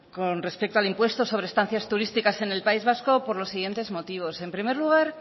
con respecto al impuesto sobre estancias turísticas en el país vasco por los siguientes motivos en primer lugar